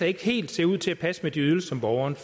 ikke helt ser ud til at passe med de ydelser som borgerne